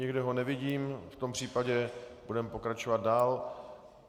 Nikde ho nevidím, v tom případě budeme pokračovat dál.